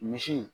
Misi